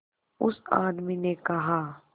उस आदमी ने कहा